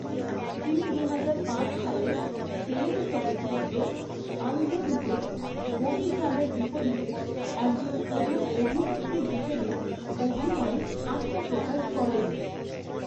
তিনি দুহাজার পাঁচ সালের, তেলুগু চলচ্চিত্র 'আন্ধ্রুদুতে', গোপীচাঁদের বিপরীতে একজন প্রধান অভিনেত্রী হিসাবে অভিনয়ে আত্মপ্রকাশ করেন।